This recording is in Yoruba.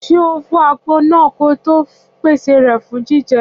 Ṣé ọ fọ àgbọn náà kí ọ to pèsè rẹ fún jíjẹ